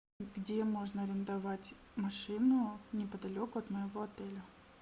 где можно арендовать машину неподалеку от моего отеля